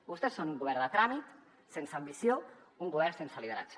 vostès són un govern de tràmit sense ambició un govern sense lideratge